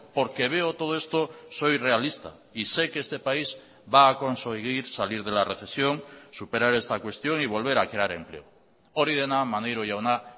porque veo todo esto soy realista y sé que este país va a conseguir salir de la recesión superar esta cuestión y volver a crear empleo hori dena maneiro jauna